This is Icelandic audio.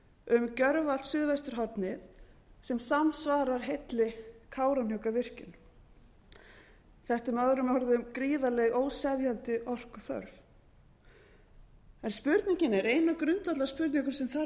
um gjörvallt suðvesturhornið sem samsvarar heilli kárahnjúkavirkjun þetta er með öðrum orðum gríðarleg óseðjandi orkuþörf spurningin er ein af grundvallarspurningum sem þarf að svara